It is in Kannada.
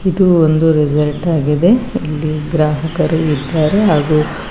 ಇದು ಒಂದು ರೆಸಾರ್ಟ್ ಆಗಿದೆ ಇಲ್ಲಿ ಗ್ರಾಹಕರು ಇದ್ದಾರೆ ಹಾಗೂ--